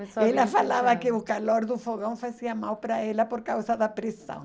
Ela falava que o calor do fogão fazia mal para ela por causa da pressão.